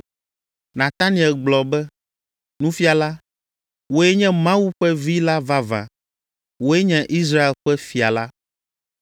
Nataniel gblɔ be, “Nufiala, wòe nye Mawu ƒe Vi la vavã. Wòe nye Israel ƒe fia la!”